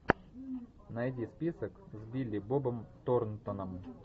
найди список с билли бобом торнтоном